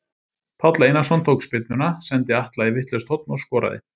Páll Einarsson tók spyrnuna, sendi Atla í vitlaust horn og skoraði.